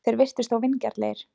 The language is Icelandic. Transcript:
Þeir virtust þó vingjarnlegir.